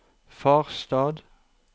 Farstad